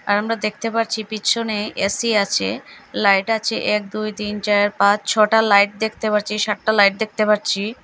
আর আমরা দেখতে পারছি পিছনে এ_সি আছে লাইট আছে এক দুই তিন চার পাঁচ ছটা লাইট দেখতে পারছি সাতটা লাইট দেখতে পারছি।